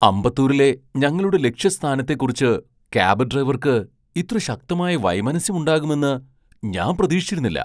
അമ്പത്തൂരിലെ ഞങ്ങളുടെ ലക്ഷ്യസ്ഥാനത്തെ കുറിച്ച് ക്യാബ് ഡ്രൈവർക്ക് ഇത്ര ശക്തമായ വൈമനസ്യം ഉണ്ടാകുമെന്ന് ഞാൻ പ്രതീക്ഷിച്ചിരുന്നില്ല.